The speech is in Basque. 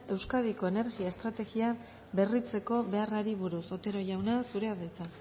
euskadiko energia estrategia berritzeko beharrari buruz otero jauna zurea da hitza